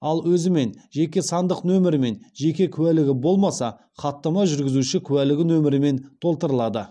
ал өзімен жеке сандық нөмірімен жеке куәлігі болмаса хаттама жүргізуші куәлігі нөмірімен толтырылады